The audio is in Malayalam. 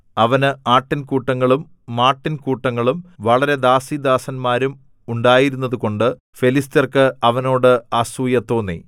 അവന് ആട്ടിൻ കൂട്ടങ്ങളും മാട്ടിൻ കൂട്ടങ്ങളും വളരെ ദാസീദാസന്മാരും ഉണ്ടായിരുന്നതുകൊണ്ട് ഫെലിസ്ത്യർക്ക് അവനോട് അസൂയ തോന്നി